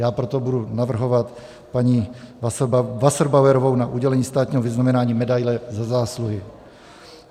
Já proto budu navrhovat paní Wasserbauerovou na udělení státního vyznamenání medaile Za zásluhy.